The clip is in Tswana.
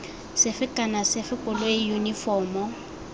sefe kana sefe koloi yunifomo